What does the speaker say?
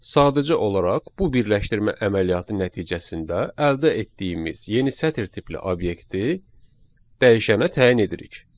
Sadəcə olaraq bu birləşdirmə əməliyyatı nəticəsində əldə etdiyimiz yeni sətr tipli obyekti dəyişənə təyin edirik.